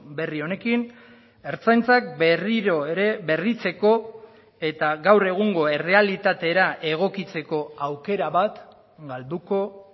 berri honekin ertzaintzak berriro ere berritzeko eta gaur egungo errealitatera egokitzeko aukera bat galduko